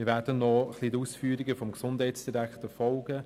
Wir werden noch den Ausführungen des Gesundheitsdirektors folgen.